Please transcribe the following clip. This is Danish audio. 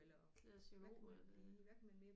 Glaciolog er det